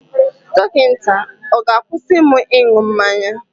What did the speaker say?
Dọkịta ọ̀ ga-akwụsị m ịṅụ mmanya?